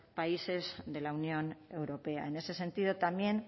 países de la unión europea en ese sentido también